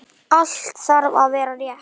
Allt þarf að vera rétt.